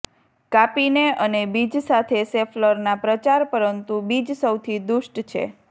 કાપીને અને બીજ સાથે શેફલરના પ્રચાર પરંતુ બીજ સૌથી દુષ્ટ છે